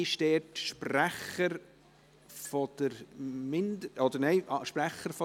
Sprecher für den Antrag ist Stefan Jordi.